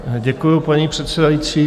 Děkuju, paní předsedající.